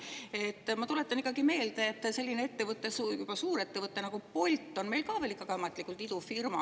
Ma ikkagi tuletan meelde, et selline suurettevõte nagu Bolt on meil ka ikka veel ametlikult idufirma.